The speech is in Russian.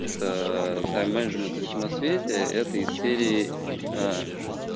та тайм менеджмент и все на свете это из серии